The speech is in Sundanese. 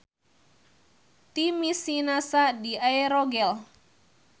Ti misi NASA di AEROGEL.